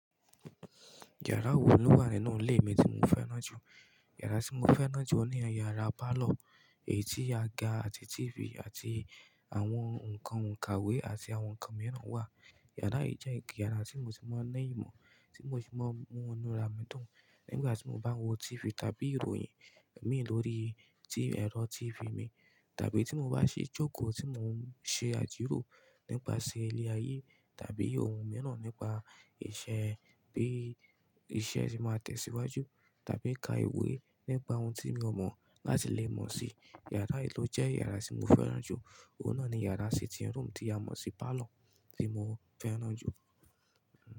Yàrá wo ló wà nínú ilé mi tí mo fẹ́ràn jù? Yàrá tí mo fẹ́ràn jù ọ ní yàrá pálọ̀ èyí tí aga àti TV àti àwọn ǹkan òǹkàwé àti àwọn ǹkan mìíràn wà. Yàrá yìí jẹ́ òkè yàrá tí mo ti mọ̀ n ní ìmọ̀, tí mo ti mọ̀ n mú inu ara mi dùn. Nígbà tí mo bá ń wo TV tàbí ìròyìn mi lórí tí ẹ̀rọ TV mi tàbí tí mo bá ṣe jókòó tí mo ń ṣe àjiró nípasẹ̀ ilé ayé tàbí ohun mìíràn nípa ìṣe, bí iṣẹ́ ti máa tẹ̀síwájú tàbí ka ìwé nípa ohun tí mi ò mọ̀ láti lè mọ̀ si. Yàrá yìí ló jẹ́ yàrá tí mo fẹ́ràn jù. Ó náá ní yàrá sitting room tí a mọ̀ sí parlour tí mo fẹ́ràn jù.